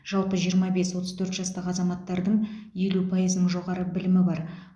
жалпы жиырма бес отыз төрт жастағы азаматтардың елу пайызының жоғары білімі бар